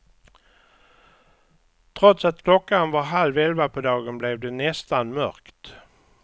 Trots att klockan var halv elva på dagen blev det nästan mörkt.